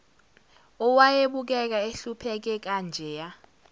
owayebukeka ehlupheke kanjeya